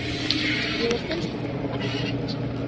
Ég er fjölskyldumaður.